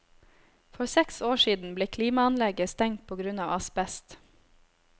For seks år siden ble klimaanlegget stengt på grunn av asbest.